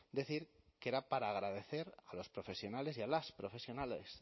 decir que era para agradecer a los profesionales y a las profesionales